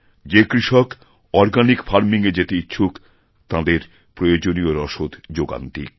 যে কৃষক organic farming এ যেতেইচ্ছুক তাঁদের প্রয়োজনীয় রসদ যোগান দিক